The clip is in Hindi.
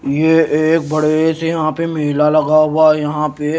ये एक बड़े से यहां पे मेला लगा हुआ यहां पे--